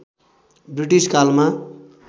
British कालमा